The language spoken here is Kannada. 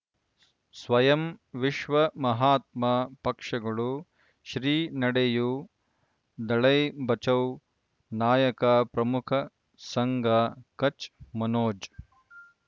ಸ್ವಯಂ ವಿಶ್ವ ಮಹಾತ್ಮ ಪಕ್ಷಗಳು ಶ್ರೀ ನಡೆಯೂ ದಲೈ ಬಚೌ ನಾಯಕ ಪ್ರಮುಖ ಸಂಘ ಕಚ್ ಮನೋಜ್